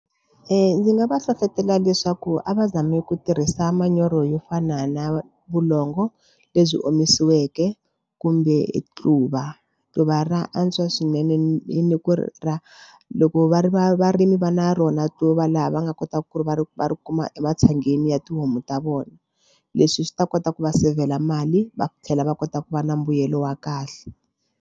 Ndzi nga va hlohlotela leswaku a va zami ku tirhisa manyoro yo fana na vulongo lebyi omisiweke kumbe quva tluva ra antswa swinene ni ku ri ra loko va ri va varimi va na rona to va laha va nga kotaka ku ri va ri va ri kuma ematshangeni ya tihomu ta vona leswi swi ta kota ku va sevhela mali va tlhela va kota ku va na mbuyelo wa kahle.